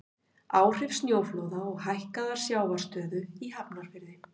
Áhrif sjóflóða og hækkaðrar sjávarstöðu í Hafnarfirði.